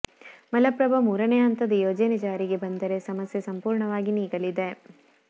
ಮಲಪ್ರಭಾ ಮೂರನೇ ಹಂತದ ಯೋಜನೆ ಜಾರಿಗೆ ಬಂದರೆ ಸಮಸ್ಯೆ ಸಂಪೂರ್ಣವಾಗಿ ನೀಗಲಿದೆ